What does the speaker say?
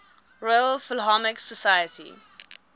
royal philharmonic society